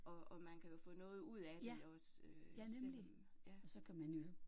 Og og man kan jo få noget ud af det også øh selvom ja